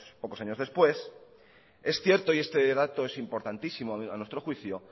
pocos años después es cierto y este dato es importantísimo a nuestro juicio